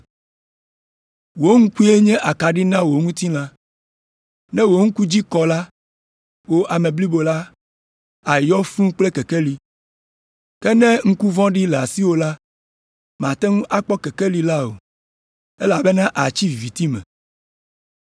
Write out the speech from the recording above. Wò ŋkue nye akaɖi na wò ŋutilã. Ne wò ŋku dzi kɔ la, wò ame blibo la àyɔ fũu kple kekeli. Ke ne ŋku vɔ̃ɖi le asiwò la, màte ŋu akpɔ kekeli la o, elabena àtsi viviti me.